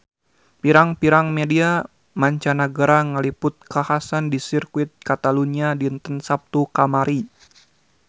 Pirang-pirang media mancanagara ngaliput kakhasan di Sirkuit Catalunya dinten Saptu kamari